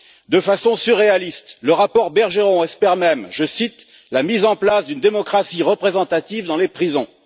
De façon surréaliste, le rapport Bergeron espère même la mise en place d'une démocratie représentative dans les prisons.